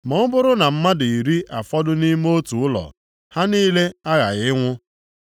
Ma ọ bụrụ na mmadụ iri afọdụ nʼime otu ụlọ, ha niile aghaghị ịnwụ.